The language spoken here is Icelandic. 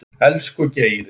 Elsku Geiri.